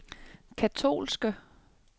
katolske